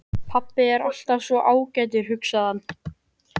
Pabbi er alltaf svo ágætur, hugsaði hann.